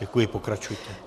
Děkuji, pokračujte.